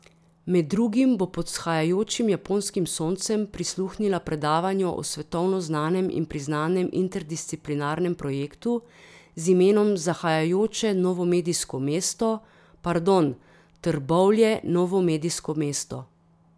Med drugim bo pod vzhajajočim japonskim soncem prisluhnila predavanju o svetovno znanem in priznanem interdisciplinarnem projektu z imenom Zahajajoče novomedijsko mesto, pardon, Trbovlje novomedijsko mesto.